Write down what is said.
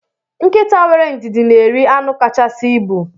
Nkịta wéré ndidi na eri anu kachasị ịbụ.